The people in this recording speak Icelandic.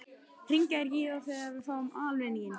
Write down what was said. Hringja þeir ekki í þá sem fá aðalvinning?